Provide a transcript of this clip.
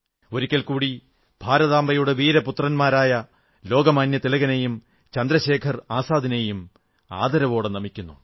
ഒരിക്കൽ കൂടി ഭാരതാംബയുടെ വീരപുത്രന്മാരായ ലോകമാന്യതിലകനെയും ചന്ദ്രശേഖർ ആസാദിനെയും ആദരവോടെ നമിക്കുന്നു